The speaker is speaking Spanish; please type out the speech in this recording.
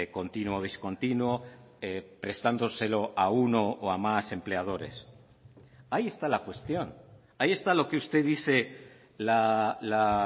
continuo o discontinuo prestándoselo a uno o a más empleadores ahí está la cuestión ahí está lo que usted dice la